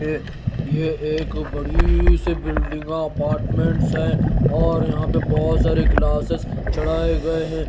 यह एक बड़ी सी बिल्डिंग अपार्टमेंट है और यहां पर बहोत सारे ग्लासेस चढ़ाए गए हैं।